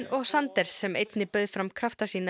og Sanders sem einnig bauð fram krafta sína